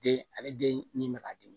Den ale den ni bɛ k'a di